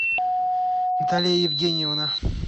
наталья евгеньевна